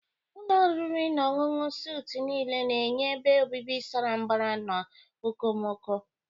Ụlọ oriri na ọṅụṅụ suitu nile na-enye ebe obibi sara mbara na okomoko.